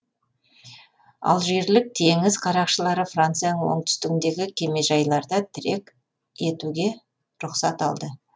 алжирлік теңіз қарақшылары францияның оңтүстігіндегі кемежайларда тірек етуге рұқсат алды